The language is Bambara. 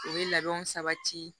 U bɛ labɛnw sabati